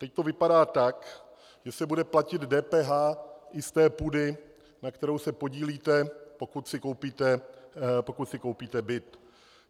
Teď to vypadá tak, že se bude platit DPH i z té půdy, na které se podílíte, pokud si koupíte byt.